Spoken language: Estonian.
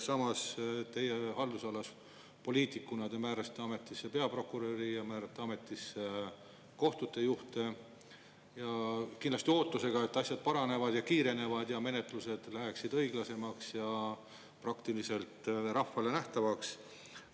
Samas, teie haldusalas te poliitikuna määrasite ametisse peaprokuröri ja määrate ametisse kohtute juhte kindlasti ootusega, et asjad paranevad ja kiirenevad ja menetlused lähevad õiglasemaks ja praktiliselt rahvale nähtavaks.